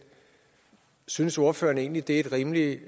synes ordføreren egentlig det er et rimeligt